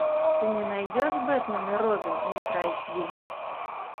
ты мне найдешь бэтмен и робин ультра эйч ди